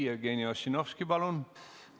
Jevgeni Ossinovski, palun!